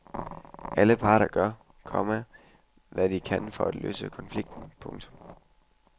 Alle parter gør, komma hvad de kan for at løse konflikten. punktum